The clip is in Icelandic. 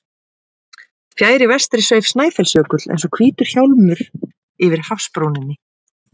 Fjær í vestri sveif Snæfellsjökull eins og hvítur hjálmur yfir hafsbrúninni.